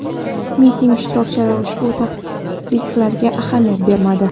Miting ishtirokchilari ushbu taqiqlarga ahamiyat bermadi.